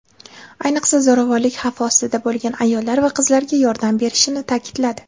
ayniqsa zo‘ravonlik xavfi ostida bo‘lgan ayollar va qizlarga yordam berishini ta’kidladi.